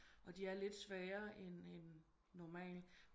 Og de er lidt sværre end end normalt